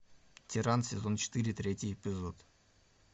тиран сезон четыре третий эпизод